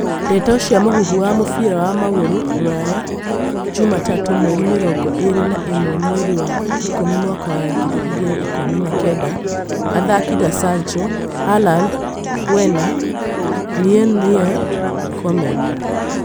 Ndeto cia mũhuhu cia mũbira wa magũrũ Rũraya juma tatũ mweri mĩrongo ĩrĩ na ĩmwe mweri wa ikũmi mwaka wa ngiri igĩrĩ ikũmi na kenda athaki ta Sancho, Haaland, Werner, Meuneir, Koeman